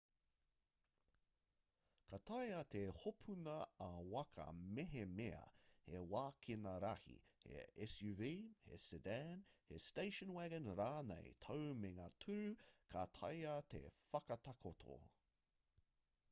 ka taea te hopuni ā-waka mehemea he wākena rahi he suv he sedan he station wagon rānei tāu me ngā tūru ka taea te whakatakoto